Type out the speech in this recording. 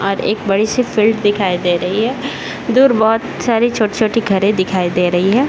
और एक बड़ी सी फील्ड दिखाई दे रही हैं। दूर बोहोत सारी छोटी-छोटी घरें दिखाई दे रही हैं।